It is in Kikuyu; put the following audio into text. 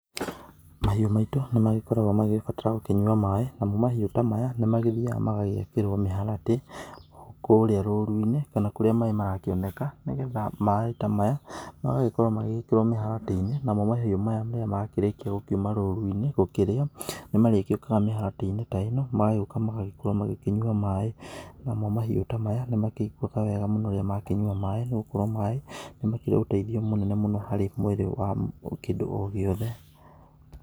Mahiũ maitũ nĩ magĩbataraga gũkorwo makĩnyua maaĩ, namo mahiũ ta maya nĩ magĩthiaga magagĩakĩrwo mĩharatĩ kũrĩa rũru-inĩ kana kũrĩa maaĩ marakĩoneka. Nĩgetha maaĩ ta maya magagĩkorwo magĩgĩkĩrwo mĩharatĩ-inĩ namo mahiũ maya rĩrĩa makĩrĩkia gũkiuma rũru-inĩ gũkĩrĩa. Nĩ marigĩũkaga mĩharatĩ-inĩ ta ĩno magagĩũka magagĩkorwo makĩnyua maaĩ. Namo mahiũ ta maya nĩ makĩiguaga wega mũno rĩrĩa makĩnyua maaĩ, nĩ gũkorwo maaĩ nĩ makĩrĩ ũteithio mũnene mũno harĩ mwĩrĩ wa kĩndũ o gĩothe.